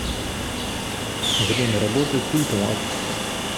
время работы культлаб